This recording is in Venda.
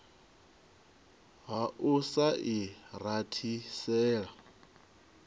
ha u sa i rathisela